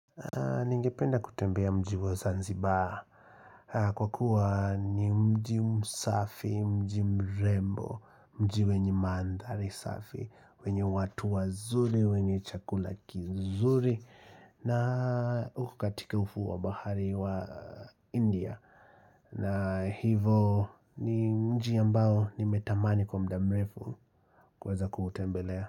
Ningependa kutembea mji wa Zanzibar Kwa kua ni mji msafi, mji mrembo, mji wenye mandhari safi wenye watu wazuri, wenye chakula kizuri na uko katika ufuo wa bahari wa India na hivo ni mji ambao nimetamani kwa muda mrefu kuweza kuutembelea.